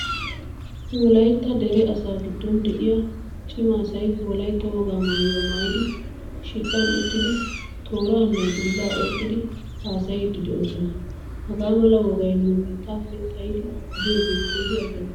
Wolaytta dere asaa giddon de'iyaa cima asay wolaytta wogaa maayuwaa maayidi shiidhdhan uttidi tooraanne dulla oyqqidi haasayidi deosona. Hagaamala wogaay nu biittappe xaayidi biyoge keehin azzanttees.